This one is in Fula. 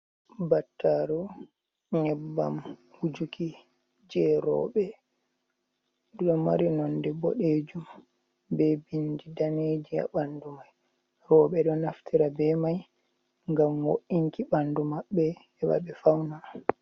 Battaru nyebbam wujuki je roɓɓe nɗu ɗo mari nonde boɗejum be bindi danejum ha ɓandu mai, roɓɓe ɗo naftira be mai ngam wo’inki ɓandu maɓɓe heba ɓe fauna.